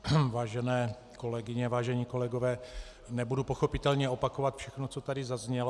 Vážené kolegyně, vážení kolegové, nebudu pochopitelně opakovat všechno, co tady zaznělo.